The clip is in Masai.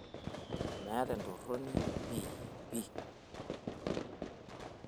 meeta entoroni pi pii